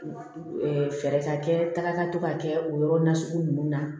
Fɛɛrɛ ka kɛ taga ka to ka kɛ o yɔrɔ nasugu ninnu na